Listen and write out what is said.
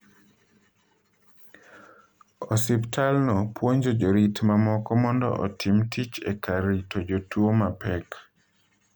Osiptalno puonjo jorit mamoko mondo otim tich e kar rito jotuwo mapek.